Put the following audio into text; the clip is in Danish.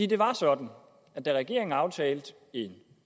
det var sådan at da regeringen aftalte en